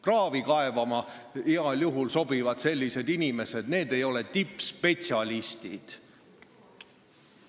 Kraavi kaevama sobivad sellised inimesed heal juhul, need ei ole tippspetsialistid.